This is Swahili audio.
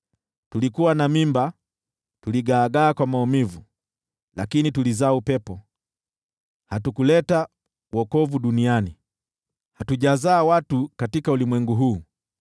Tulikuwa na mimba, tuligaagaa kwa maumivu, lakini tulizaa upepo. Hatukuleta wokovu duniani, hatujazaa watu katika ulimwengu huu.